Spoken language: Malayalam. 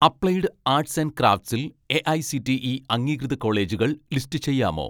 അപ്ലൈഡ് ആർട്സ് ആൻഡ് ക്രാഫ്റ്റ്സിൽ എ.ഐ.സി.ടി.ഇ അംഗീകൃത കോളേജുകൾ ലിസ്റ്റ് ചെയ്യാമോ